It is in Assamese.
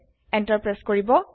এন্টাৰ প্ৰেছ কৰিব